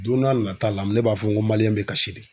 Don n'a nata la ne b'a fɔ n ko bɛ kasi de